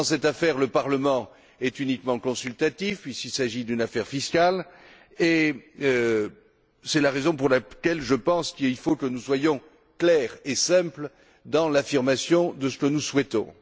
Dans cette affaire, le Parlement est uniquement consulté, puisqu'il s'agit d'une affaire fiscale, et c'est la raison pour laquelle, selon moi, il faut que nous soyons clairs et simples dans l'affirmation de ce que nous souhaitons.